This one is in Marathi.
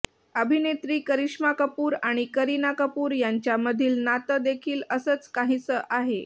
अभिनेत्री करिश्मा कपूर आणि करिना कपूर यांच्यामधील नातं देखील असंच काहीसं आहे